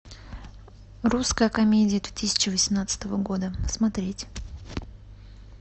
русская комедия две тысячи восемнадцатого года смотреть